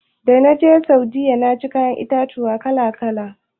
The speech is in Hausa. Dana je Saudiyya naci kayan itatuwa kala-kala.